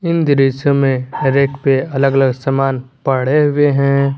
दृश्य में रेक पे अलग अलग सामान पड़े हुए हैं।